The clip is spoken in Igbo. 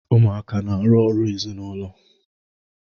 Ụmuaka na-arụ ọrụ ezịnụlo